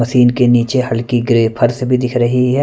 Machine के नीचे हल्की ग्रे फर्श भी दिख रही है।